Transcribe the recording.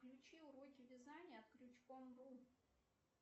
включи уроки вязания крючком ру